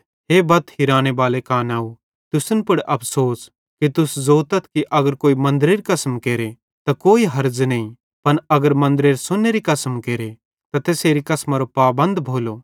हे बत हिराने बाले कानाव तुसन पुड़ अफ़सोस कि तुस ज़ोतथ कि अगर कोई मन्दरेरी कसम केरे त कोई हर्ज़ नईं पन अगर मन्दरेरे सोन्नेरी कसम केरे त तैसेरी कसमारो पाबंद भोलो